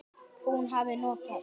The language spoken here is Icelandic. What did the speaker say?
Hún hafi notað